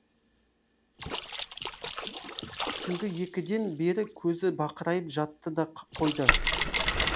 түнгі екіден бері көзі бақырайып жатты да қойды